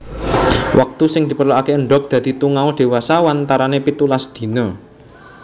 Waktu sing diperluke endhog dadi tungau dewasa wantarane pitulas dina